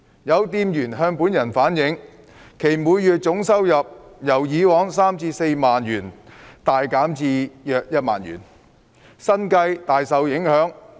有店員向本人反映，其每月總收入由以往的三、四萬元大減至約一萬元，生計大受影響。